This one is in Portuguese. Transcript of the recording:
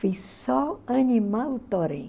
Fiz só animar o torém.